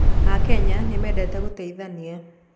Akenya nĩmendete gũteithania